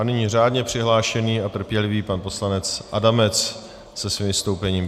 A nyní řádně přihlášený a trpělivý pan poslanec Adamec se svým vystoupením.